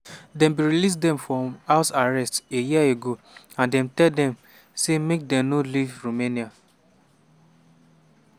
dem bin release dem from house arrest a year ago and dem tell dem say make dem no leave romania.